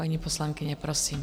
Paní poslankyně, prosím.